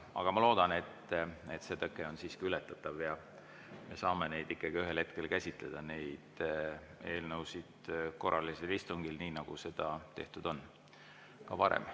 Aga ma loodan, et see tõke on siiski ületatav ja me saame ikkagi ühel hetkel käsitleda neid eelnõusid korralisel istungil, nii nagu seda on tehtud ka varem.